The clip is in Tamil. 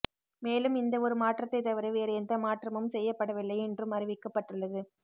மேலும் இந்த ஒரு மாற்றத்தை தவிர வேறு எந்த மாற்றமும் செய்யப்படவில்லை என்றும் அறிவிக்கப்பட்டுள்ளது